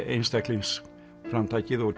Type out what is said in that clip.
einstaklingsframtakið og